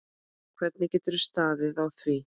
Hvernig getur staðið á því.